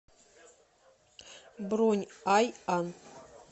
бронь айан